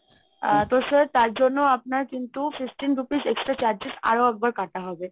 আ তো sir তার জন্য আপনার কিন্তু fifteen rupees extra charges আরো একবার কাটা হবে